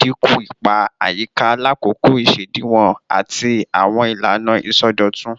dinku ipa ayika lakoko isediwon ati awọn ilana isọdọtun